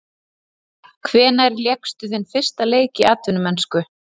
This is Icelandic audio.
Hvenær lékstu þinn fyrsta leik í atvinnumennsku?